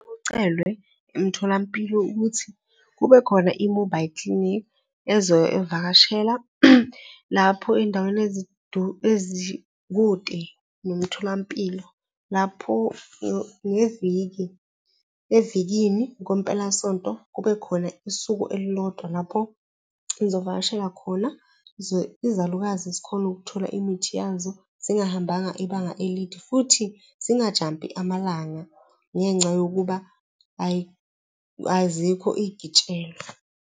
Kucelwe emtholampilo ukuthi kube khona i-mobile clinic ezobe ivakashela lapho ey'ndaweni ezikude nomtholampilo. Lapho ngeviki evikini kwempelasonto kubekhona isuku elilodwa lapho izovakashela khona, izalukazi zikhone ukuthola imithi yazo zingahambanga ibanga elide futhi zingajampi amalanga ngenxa yokuba azikho iy'gitshelwa.